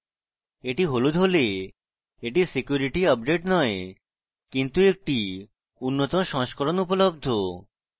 এটি হলুদ হলে এটি security update নয় কিন্তু একটি উন্নত সংস্করণ উপলব্ধ